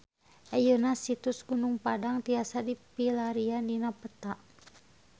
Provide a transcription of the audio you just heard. Ayeuna Situs Gunung Padang tiasa dipilarian dina peta